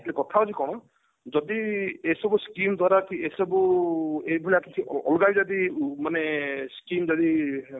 ତେଣୁ କଥା ହଉଛି କଣ ଯଦି ଏସବୁ skim ଦ୍ଵାରା କି ଏସବୁ ଏଇଭଳିଆ କିଛି ଅଲଗା ଯଦି ମାନେ skim ଯଦି